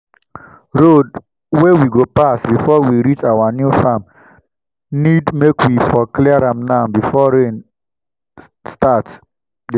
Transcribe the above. road wey we go pass befor we reach our new farm need make we for clear am now befor rain start dey fall